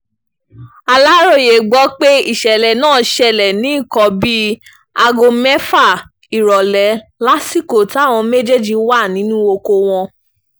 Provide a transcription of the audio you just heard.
aláròye gbọ́ pé ìṣẹ̀lẹ̀ náà ṣẹlẹ̀ ní nǹkan bíi aago mẹ́fà ìrọ̀lẹ́ lásìkò táwọn méjèèjì wà nínú oko wọn